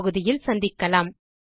இதற்கு தமிழாக்கம் கடலூர் திவா